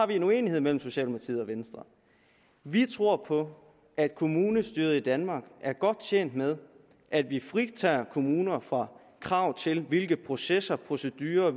vi en uenighed mellem socialdemokratiet og venstre vi tror på at kommunestyret i danmark er godt tjent med at vi fritager kommuner fra krav til hvilke processer procedurer og